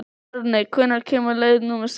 Árni, hvenær kemur leið númer sextán?